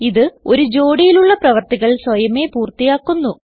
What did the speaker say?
ഇത് ഒരു ജോടിയിലുള്ള പ്രവർത്തികൾ സ്വയമേ പൂർത്തിയാക്കുന്നു